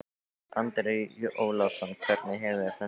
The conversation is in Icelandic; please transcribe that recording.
Andri Ólafsson: Hvernig hefur þetta gengið?